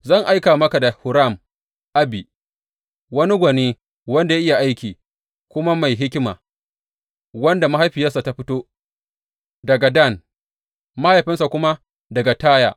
Zan aika maka Huram Abi, wani gwani wanda ya iya aiki, kuma mai hikima, wanda mahaifiyarsa ta fito daga Dan, mahaifinsa kuma daga Taya.